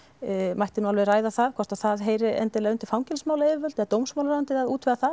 mætti nú alveg ræða það hvort það heyri undir fangelsismálayfirvöld eða dómsmálaráðuneytið að útvega það